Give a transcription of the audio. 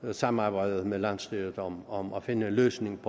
det samarbejde med landsstyret om om at finde en løsning